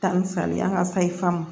Ta ni salen an ka sayi famu